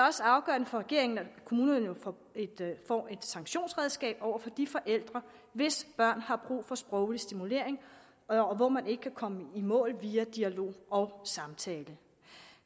også afgørende for regeringen at kommunerne nu får et sanktionsredskab over for de forældre hvis børn har brug for sproglig stimulering og hvor man ikke kan komme i mål via dialog og samtale